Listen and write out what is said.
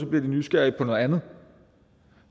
bliver de nysgerrige på noget andet